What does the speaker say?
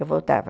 Eu voltava.